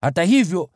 Hata hivyo,